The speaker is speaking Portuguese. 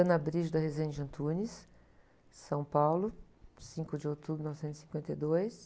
São Paulo, cinco de outubro de mil novecentos e cinquenta e dois.